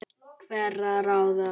hverra ráða.